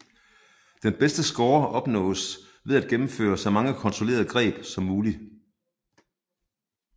Den bedste score opnås ved at gennemføre så mange kontrollerede greb som muligt